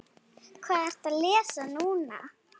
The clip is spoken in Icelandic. Hvað ertu að lesa núna?